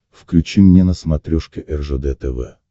включи мне на смотрешке ржд тв